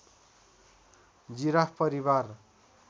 giraffe परिवार